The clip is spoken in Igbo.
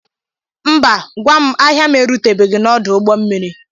Mba ngwa ahịa m erutebeghi n'odu ụgbọ mmiri.